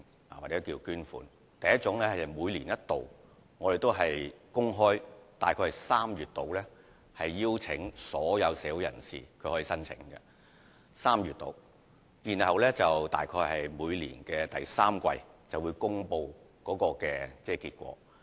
第一類是每年一度的，大概會在每年3、4月公開邀請所有非牟利團體提出申請，然後大約在每年的第三季公布結果。